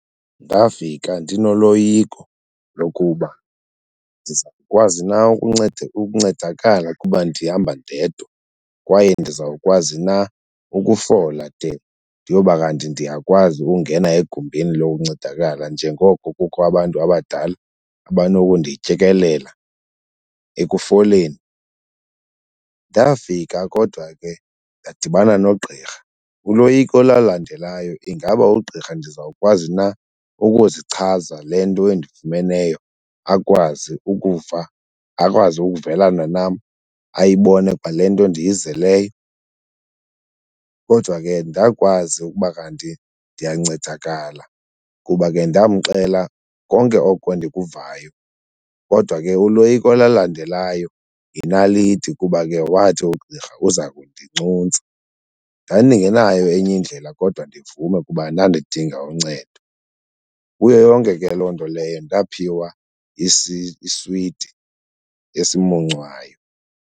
Ndafika ndinoloyiko lokuba ndizawukwazi na ukuncedakala kuba ndihamba ndedwa kwaye ndizawukwazi na ukufola de ndiyoba kanti ndiyakwazi ukungena egumbini lokuncedakala njengoko kukho abantu abadala abanokundityekelela ekufoleni. Ndafika kodwa ke ndadibana nogqirha, uloyiko olalandelayo ingaba ugqirha ndizawukwazi na ukuzichaza le nto endifumeneyo akwazi ukuva, akwazi ukuvelana nam, ayibone kwale nto ndiyizeleyo. Kodwa ke ndakwazi ukuba kanti ndiyancedakala kuba ke ndamxela konke oko ndikuvayo kodwa ke uloyiko olalandelayo yinaliti kuba ke wathi ugqirha uza kundincuntsa. Ndandingenayo enye indlela kodwa ndivume ukuba ndandidinga uncedo. Kuyo yonke ke loo nto leyo ndaphiwa iswiti esimuncwayo.